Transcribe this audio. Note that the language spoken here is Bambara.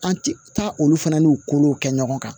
An ti taa olu fana n'u kolow kɛ ɲɔgɔn kan